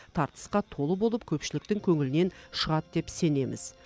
тартысқа толы болып көпшіліктің көңілінен шығады деп сенеміз